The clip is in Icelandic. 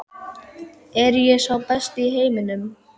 Er ég sá besti í heiminum?